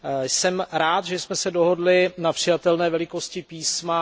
Jsem rád, že jsme se dohodli na přijatelné velikosti písma.